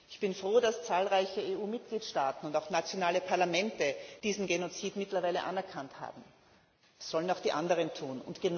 Ich bin froh, dass zahlreiche EU Mitgliedstaaten und auch nationale Parlamente diesen Genozid mittlerweile anerkannt haben. Das sollen auch die anderen tun.